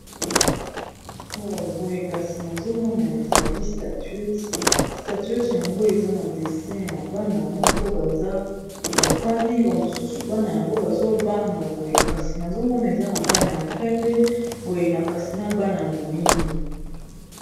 Oh boye kasi nazomona ezali statuete, statuete yango eza na dessin ya bana moko baza bafandi bamosusu bana yango bazobanga boye kasi nazomona eza na bana ya pembe boye na kasi na bana ya moyindo.